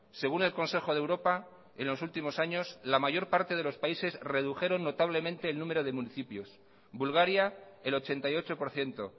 según el consejo de europa en los últimos años la mayor parte de los países redujeron notablemente el número de municipios bulgaria el ochenta y ocho por ciento